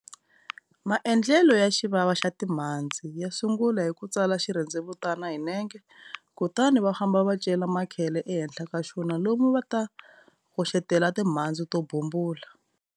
Maendelo ya Xivava xa timhandzi, ya sungula hi ku tsala xirhendzevutani hi nenge, Kutani va famba va cela makhele ehenhla ka xona lomu a va ta hoxetela timhandzi to bumbula.